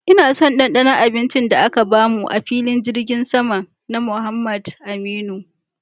Ina son dandanon abincin da aka bamu a'filin jirgin sama na Muhammad Aminu.